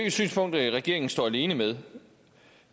et synspunkt regeringen står alene med